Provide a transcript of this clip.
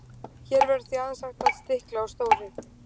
Hér verður því aðeins hægt að stikla á stóru.